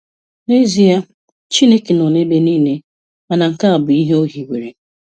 N'ezie Chineke nọ ebe niile, ma nke a bụ ihe O hiwere.